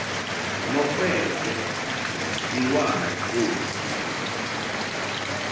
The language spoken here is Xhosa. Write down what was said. nokhwekhwe iwalo olu